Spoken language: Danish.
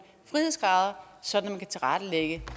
frihedsgrader så man kan tilrettelægge